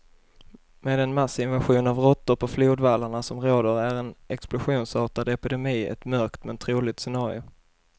Med den massinvasion av råttor på flodvallarna som råder är en explosionsartad epidemi ett mörkt, men troligt scenario.